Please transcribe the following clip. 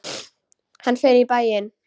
Hann fer í bæinn!